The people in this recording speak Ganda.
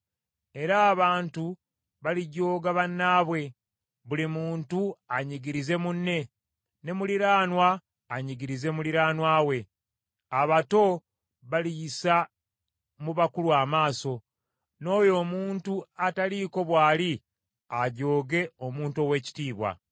Era abantu balijooga bannaabwe, buli muntu anyigirize munne, ne muliraanwa anyigirize muliraanwa we. Abato baliyisa mu bakulu amaaso n’oyo omuntu ataliiko bw’ali ajooge omuntu ow’ekitiibwa.